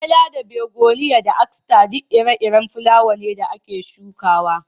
Azela da Begoniya da Aster duk ire-iren fulawa ne da ake shukawa.